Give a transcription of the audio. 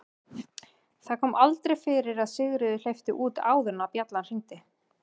Það kom aldrei fyrir að Sigríður hleypti út áður en bjallan hringdi.